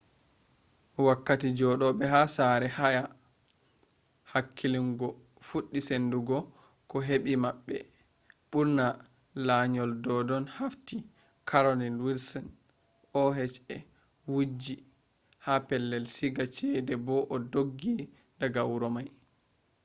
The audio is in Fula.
wakkati jodobe ha sare haya hakillungo fuddi sendugo ko hebi mabbe bur’na layuol doddon hafti carolyn wilsonje oha wujji ha pellel siiga chede bo o doggi daga huro mai